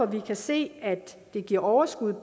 vi kan se giver overskud på